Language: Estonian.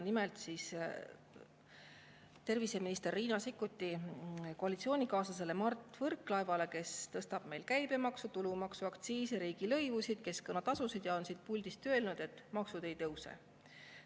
Nimelt terviseminister Riina Sikkuti koalitsioonikaaslasele Mart Võrklaevale, kes tõstab käibemaksu, tulumaksu, aktsiisi, riigilõivusid, keskkonnatasusid ja on siit puldist öelnud, et maksud ei tõuse.